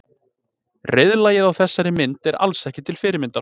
Reiðlagið á þessari mynd er alls ekki til fyrirmyndar.